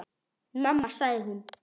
Mamma sagði hún.